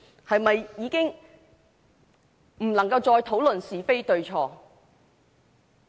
是否已經不能夠再討論是非對錯？